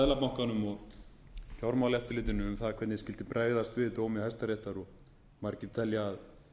seðlabankanum og fjármálaeftirlitinu um það hvernig skyldi bregðast við dómi hæstaréttar margir telja að